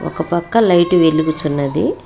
ఒకపక్క లైటు వెలుగుచున్నది.